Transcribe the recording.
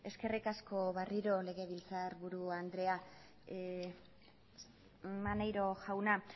eskerrik asko berriro legebiltzarburu andrea maneiro jauna